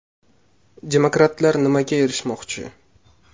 Demokratlar nimaga erishmoqchi?.